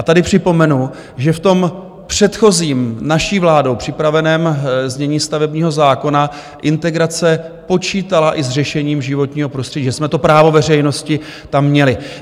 A tady připomenu, že v tom předchozím, naší vládou připraveném znění stavebního zákona integrace počítala i s řešením životního prostředí, že jsme to právo veřejnosti tam měli.